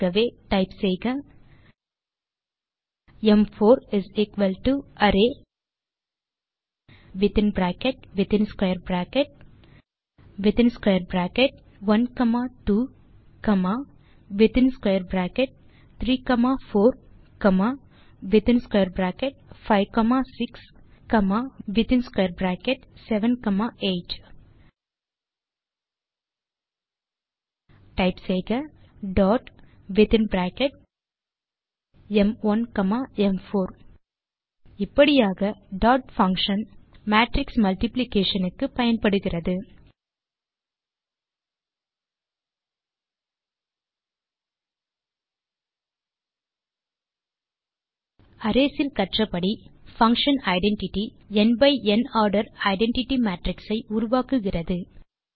ஆகவே டைப் செய்க ம்4 array within bracket within square bracket within square bracket 1 comma 2 comma within square bracket 3 comma 4 comma within square bracket 5 comma 6 within square bracket comma within square bracket 7 comma 8 type செய்க dot within bracket ம்1 comma ம்4 இப்படியாக dot function matrix multiplication க்கு பயன்படுகிறது arrays இல் கற்றபடி function identity n by n order identity matrix ஐ உருவாக்குகிறது